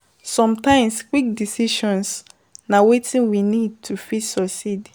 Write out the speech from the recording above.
Sometimes quick decision na wetin we need to fit succeed